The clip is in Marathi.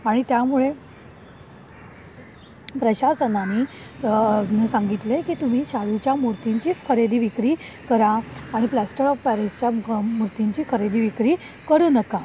आणि त्यामुळे प्रशासनाने सांगितले की तुम्ही चालू च्या मूर्ती ची खरेदी विक्री करा आणि प्लास्टर ऑफ पॅरिसच्या मूर्ती ची खरेदी विक्री करू नका.